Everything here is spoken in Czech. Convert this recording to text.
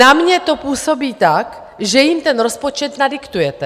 Na mě to působí tak, že jim ten rozpočet nadiktujete.